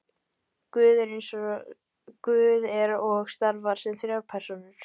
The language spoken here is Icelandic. guð er og starfar sem þrjár persónur